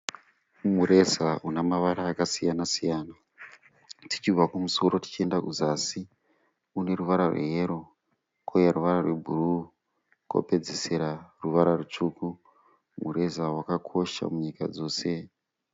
Mureza une mavara akasiyana-siyana. Tichibva kumusoro tichienda kuzasi une ruvara rwe yero uye ruvara rwebhuru kopedzisira ruvara rwutsvuku. Mureza wakakosha munyika dzose.